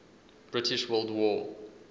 british world war